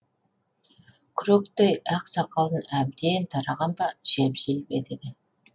күректей ақ сақалын әбден тараған ба желп желп етеді